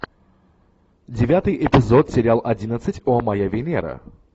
девятый эпизод сериал одиннадцать о моя венера